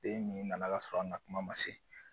Den min nana ka sɔrɔ a nakuma man se.